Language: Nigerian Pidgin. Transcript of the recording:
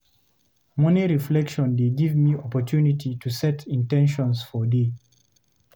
Morning reflection dey give me opportunity to set in ten tions for day.